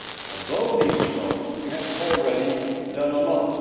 On both these fronts we have already done a lot.